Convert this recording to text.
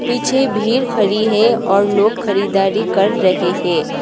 पीछे भीड़ खड़ी है और लोग खरीदारी कर रहे हैं।